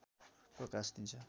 प्रकाश दिन्छ